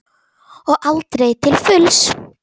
Og aldrei til fulls.